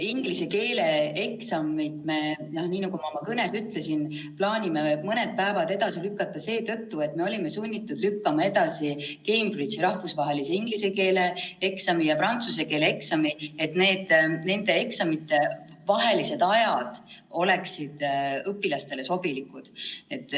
Inglise keele eksamit me, nii nagu ma oma kõnes ütlesin, plaanime mõned päevad edasi lükata seetõttu, et me olime sunnitud edasi lükkama Cambridge'i rahvusvahelise inglise keele eksami ja prantsuse keele eksami, et nende eksamite vahelised ajad oleksid õpilastele sobilikud.